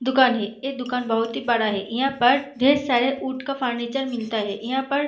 दुकान है ये दुकान बोहोत ही बड़ा है यहाँ पर ढ़ेर सारे वुड का फर्नीचर मिलता है यहाँ पर --